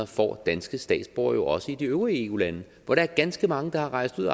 får danske statsborgere jo også i de øvrige eu lande hvor der er ganske mange der er rejst ud